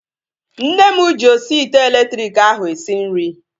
Nne m ji osi ite elektriki ahu esi nri